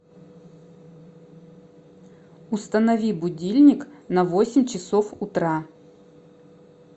установи будильник на восемь часов утра